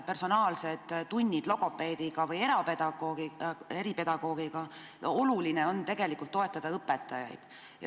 Personaalsed tunnid logopeedi või eripedagoogiga ei ole jätkusuutlikud, oluline on toetada õpetajaid.